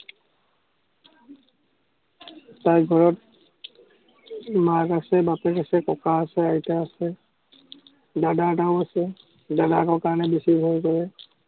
তাইৰ ঘৰত মাক আছে, বাপেক আছে, ককাক আছে, আইতাক আছে। দাদা এটাও আছে। দাদাকৰ কাৰণে বেছি ভয় কৰে।